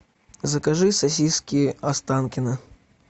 закажи сосиски останкино